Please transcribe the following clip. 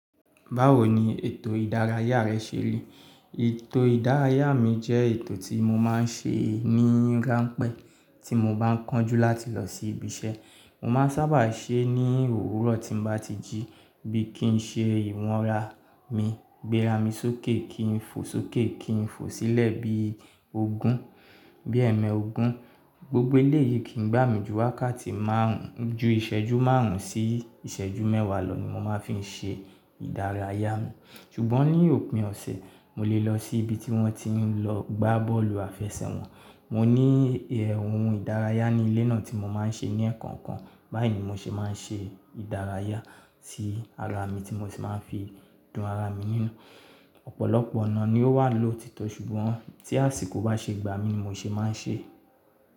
Báwo ni ètò ìdárayá rẹ ṣe rí? Ètò ìdárayá mi jẹ́ ètò tí mo máa ń ṣe ní ránpẹ́ tí mo bá ń kánjú láti lọ sí ibi iṣẹ́. Mo máa ń sábà ṣe ẹ́ ní òwúrọ̀ tí mo bá ti jí, bí kín ṣe ìwọ̀nra mi, gbéra mi sókè kí n fò sókè kí n fò sílẹ̀ bí ogun, bí ẹ̀mẹ́ ogun. Gbogbo ilé yìí kì í gbà mí ju wákàtí márùn-ún, ju ìṣẹ́jú márùn-ún sí ìṣẹ́jú mẹ́wàá lọ ni mo máa ń fi ṣe ìdárayá mi. Ṣùgbọ́n ní òpin ọ̀sẹ̀, mo lè lọ sí ibi tí wọ́n ti ń lọ gbá bọ́ọ̀lù àfẹsẹ̀ wọn. Mo ní ohun ìdárayá ní ilé náà tí mo máa ń ṣe ní ẹ̀ẹ̀kan kan. Báyìí ni mo ṣe máa ń ṣe ìdárayá sí ara mi tí mo sì máa ń fi dùn ara mi nínú. Ọ̀pọ̀lọpọ̀ ọ̀nà ni ó wà lòtítọ́, ṣùgbọ́n tí àsìkò bá ṣe gbà mí, mo ṣè máa ń ṣe.